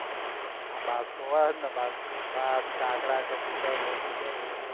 હા બાજ તો હોય ને બાજ તો કાગડા કબુતર બધું જ હોય